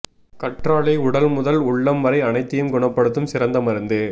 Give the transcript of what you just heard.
கற்றாழை உடல் முதல் உள்ளம் வரை அனைத்தையும் குணப்படுத்தும் சிறந்த மருந்து